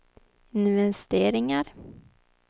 investeringar